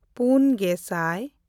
ᱯᱩᱱᱼᱜᱮᱥᱟᱭ